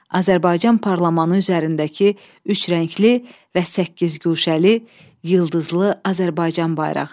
Azərbaycan parlamentı üzərindəki üç rəngli və səkkizguşəli, yıldızlı Azərbaycan bayrağı.